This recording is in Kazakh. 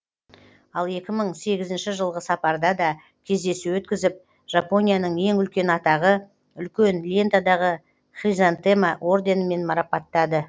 ал екі мың сегізінші жылғы сапарда да кездесу өткізіп жапонияның ең үлкен атағы үлкен лентадағы хризантема орденімен марапаттады